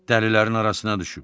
Dəlilərin arasına düşüb.